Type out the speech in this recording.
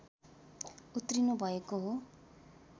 उत्रिनु भएको हो